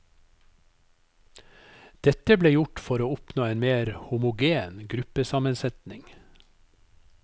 Dette ble gjort for å oppnå en mer homogen gruppesammensetning.